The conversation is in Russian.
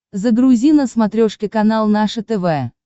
загрузи на смотрешке канал наше тв